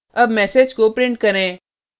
अब message को print करें